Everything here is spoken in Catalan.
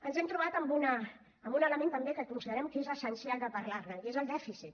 ens hem trobat amb un element també que considerem que és essencial de parlar ne i és el dèficit